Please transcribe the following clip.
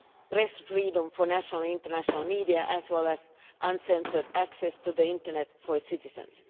press freedom of national and international media as well as uncensored access to the Internet for its citizens.